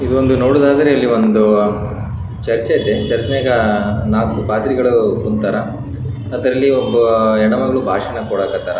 ಒಬ್ಬ ಪುರುಷ ಕಣ್ಣಿಗೆ ಕನ್ನಡಕವನ್ನು ಹಾಕೊಂಡಿದ್ದಾರೆ ಒಬ್ಬ ಮಹಿಳೆ ಬಿಳಿ ಬಣ್ಣದ ಬಟ್ಟೆಯನ್ನು ಧರಿಸಿದ್ದಾರೆ.